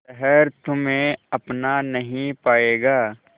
शहर तुम्हे अपना नहीं पाएगा